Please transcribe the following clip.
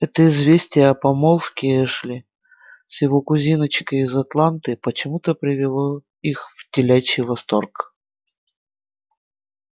это известие о помолвке эшли с его кузиночкой из атланты почему-то привело их в телячий восторг